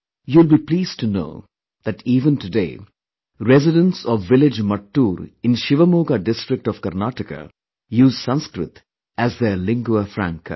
You will be pleased to know that even today, residents of village Mattur in Shivamoga district of Karnataka use Sanskrit as their lingua franca